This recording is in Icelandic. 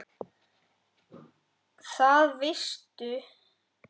Það veistu